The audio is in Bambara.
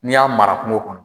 N'i y'a mara kungo kɔnɔ